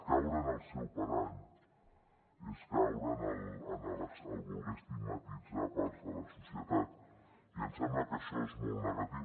caure en el seu parany és caure en voler estigmatitzar parts de la societat i em sembla que això és molt negatiu